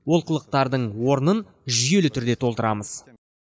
олқылықтардың орнын жүйелі түрде толтырамыз